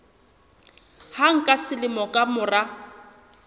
hang ka selemo ka mora